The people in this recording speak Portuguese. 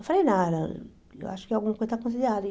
Eu falei, não, eu acho que alguma coisa está fazendo errado.